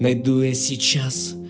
найду я сейчас